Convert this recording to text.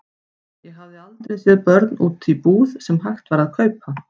Ég hafði aldrei séð börn úti í búð sem hægt var að kaupa.